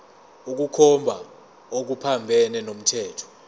ukukhomba okuphambene nomthetho